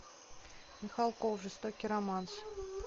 михалков жестокий романс